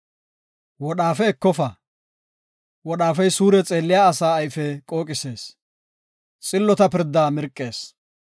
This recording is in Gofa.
Wodhaafe ekofa; wodhaafey suure xeelliya asa ayfe qooqisees, xillota pirdaa mirqees.